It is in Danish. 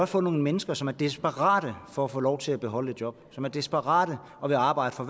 få nogle mennesker som er desperate for at få lov til at beholde et job som er desperate og vil arbejde for